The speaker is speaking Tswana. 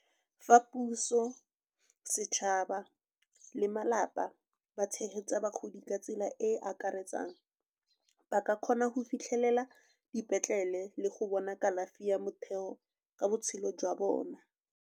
Fa puso, setšhaba le malapa ba tshegetsa bagodi ka tsela e e akaretsang, ba ka kgona go fitlhelela dipetlele le go bona kalafi ya motheo ka botshelo jwa bona.